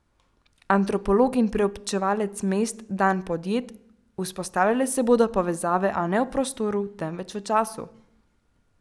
Antropolog in preučevalec mest Dan Podjed: "Vzpostavljale se bodo povezave, a ne v prostoru, temveč v času.